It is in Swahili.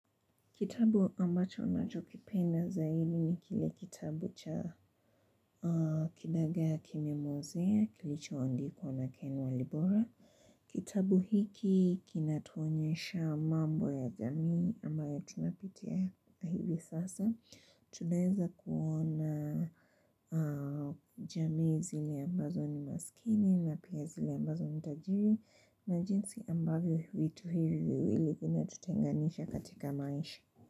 Kitabu ambacho ninachokipenda zaidi ni ni kile kitabu cha kidaga kimemwozea kilichoandikwa na ken walibora. Kitabu hiki kinatuonyesha mambo ya jamii ambayo tunapitia hivi sasa. Tunaeza kuona jamii zile ambazo ni maskini na pia zile ambazo ni tajiri na jinsi ambayo hivi vitu hivi viwili vinatutenganisha katika maisha.